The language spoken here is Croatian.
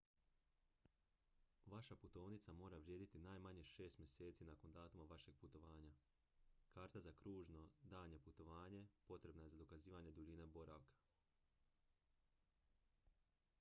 vaša putovnica mora vrijediti najmanje 6 mjeseci nakon datuma vašeg putovanja. karta za kružno/daljnje putovanje potrebna je za dokazivanje duljine boravka